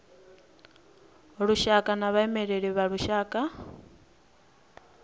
lushaka na vhaimeleli vha lushaka